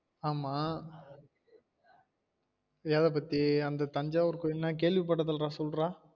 ஆமா எத பத்தி அந்த தஞ்சாஊர் கோவில் நான் கேள்வி பட்டதில்ல சொல்லு டா